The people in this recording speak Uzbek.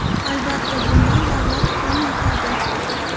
Albatta, bundan davlat ham yutadi.